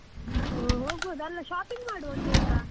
ಹೋ~ ಹೋಗ್ಬೋದು ಅಲ್ಲ shopping ಮಾಡ್ವಾ ಒಂದಿವ್ಸ.